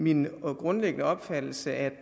min grundlæggende opfattelse at man